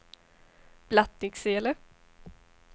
Blattnicksele